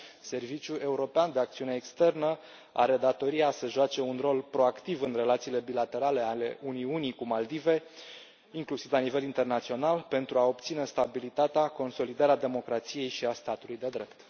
Serviciul European de Acțiune Externă are datoria să joace un rol proactiv în relațiile bilaterale ale Uniunii cu Maldivele, inclusiv la nivel internațional, pentru a obține stabilitatea, consolidarea democrației și a statului de drept.